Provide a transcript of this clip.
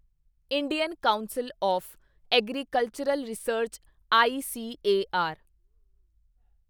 Indian council of agricultural research ICAR